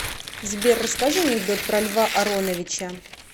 сбер расскажи анекдот про льва ароновича